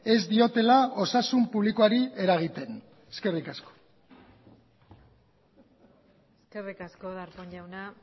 ez diotela osasun publikoari eragiten eskerrik asko eskerrik asko darpón jauna